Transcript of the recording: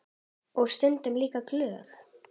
Og stundum líka glöð.